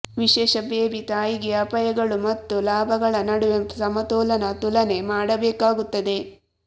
ವಿಶೇಷ ಬೇಬಿ ತಾಯಿಗೆ ಅಪಾಯಗಳು ಮತ್ತು ಲಾಭಗಳ ನಡುವೆ ಸಮತೋಲನ ತುಲನೆ ಮಾಡಬೇಕಾಗುತ್ತದೆ